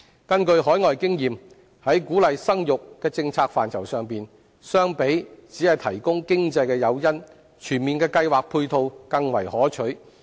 根據海外經驗，在鼓勵生育的政策範疇上，相比只提供經濟誘因，全面的計劃配套更為可取。